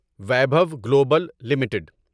Vaibhav global limited